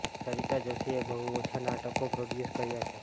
સરિતા જોષીએ બહુ ઓછાં નાટકો પ્રોડ્યુસ કર્યાં છે